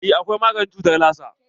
Eh akwai maganin cutar lasa.